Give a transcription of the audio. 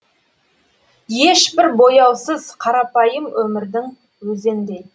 ешбір бояусыз қарапайым өмірдің өзіндей